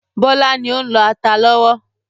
Bọlá ni ó ń lọ ata lọ́wọ́.